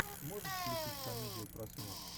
можешь включить комедию про смерть